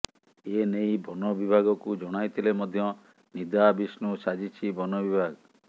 ଏନେଇ ବନ ବିଭାଗକୁ ଜଣାଇଥିଲେ ମଧ୍ୟ ନିଦାବିଷ୍ଣୁ ସାଜିଛି ବନ ବିଭାଗ